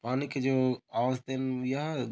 पानी के जो आवाज --]